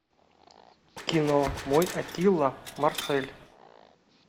кино мой аттила марсель